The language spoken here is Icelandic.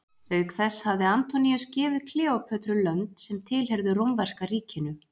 Auk þess hafði Antoníus gefið Kleópötru lönd sem tilheyrðu rómverska ríkinu.